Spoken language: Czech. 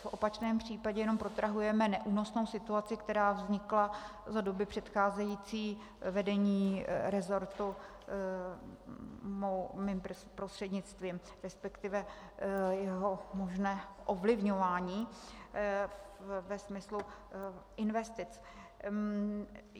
V opačném případě jenom protrahujeme neúnosnou situaci, která vznikla za doby předcházející vedení resortu, mým prostřednictvím, respektive jeho možné ovlivňování ve smyslu investic.